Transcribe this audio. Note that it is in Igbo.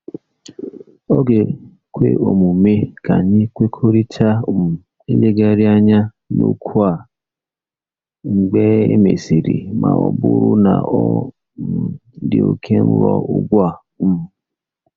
Ọ̀ ga-ekwe omume ka anyị kwekọrịta um ilegharị anya n'okwu a mgbe e mesịrị ma ọ bụrụ na ọ um dị oke nro ugbu a? um